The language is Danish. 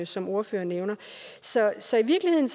som ordføreren nævner så så i virkeligheden